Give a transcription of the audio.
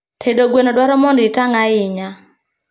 Tedo gweno dwaro mondo itang' ahinya